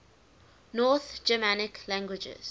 north germanic languages